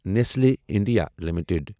Nestle India limited